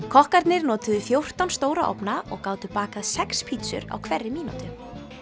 kokkarnir notuðu fjórtán stóra ofna og gátu bakað sex pítsur á hverri mínútu